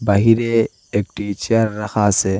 বাহিরে একটি চেয়ার রাখা আছে।